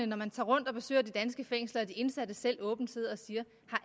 når man tager rundt og besøger de danske fængsler at de indsatte selv åbent sidder og siger